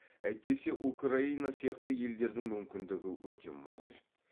әйтпесе украина сияқты елдердің мүмкіндігі өте мол еді